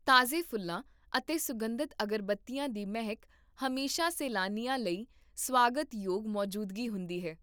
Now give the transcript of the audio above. ਤਾਜ਼ੇ ਫੁੱਲਾਂ ਅਤੇ ਸੁਗੰਧਿਤ ਅਗਰਬੱਤੀਆਂ ਦੀ ਮਹਿਕ ਹਮੇਸ਼ਾ ਸੈਲਾਨੀਆਂ ਲਈ ਸਵਾਗਤਯੋਗ ਮੌਜੂਦਗੀ ਹੁੰਦੀ ਹੈ